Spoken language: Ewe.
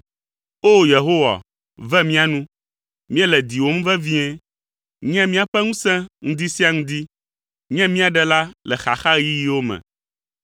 O! Yehowa, ve mía nu; míele diwòm vevie. Nye míaƒe ŋusẽ ŋdi sia ŋdi. Nye mía ɖela le xaxaɣeyiɣiwo me.